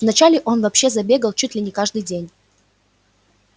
вначале он вообще забегал чуть ли не каждый день